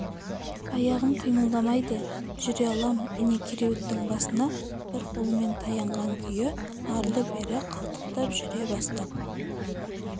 аяғым қимылдайды жүре алам міне кереуеттің басына бір қолымен таянған күйі арлы-берлі қалтақтап жүре бастап